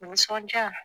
Nisɔndiya